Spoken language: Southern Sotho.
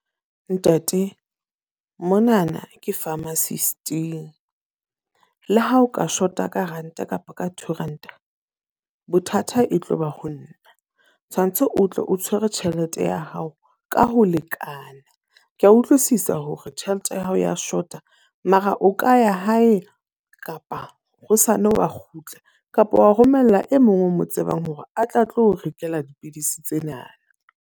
Ntate, monana ke pharmacist-ing. Le ha o ka shota ka ranta kapa ka two ranta bothata e tloba ho nna. Tshwantse o tle o tshwere tjhelete ya hao ka ho lekana. Ke a utlwisisa hore tjhelete ya hao ya short-a. Mara o ka ya hae kapa hosane wa kgutla kapa wa romella e mong o mo tsebang hore a tle a tlo rekela dipidisi tsena.